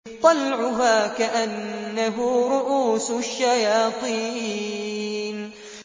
طَلْعُهَا كَأَنَّهُ رُءُوسُ الشَّيَاطِينِ